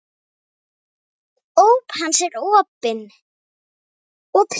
Óp hans er opin